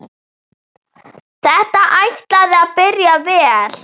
Þetta ætlaði að byrja vel!